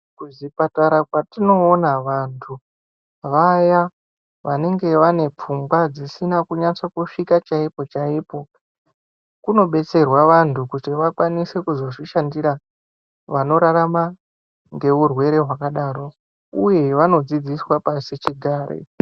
Kuzvipatara kwatinoona vantu , vaya vanenge vane pfungwa dzisina kunyatsa kusvika chaipo chaipo kunobetserwa vantu kuti vakwanise kuzodzishandira vanorarama neurwere hwakadaro uye vonodzidziswa pasichigare.